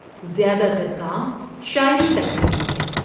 زیادہ تر کام شاعری تک محدود ہیں۔